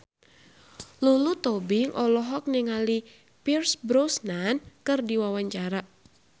Lulu Tobing olohok ningali Pierce Brosnan keur diwawancara